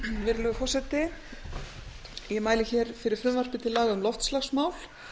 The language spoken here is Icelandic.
virðulegi forseti ég mæli fyrir frumvarpi til laga um loftslagsmál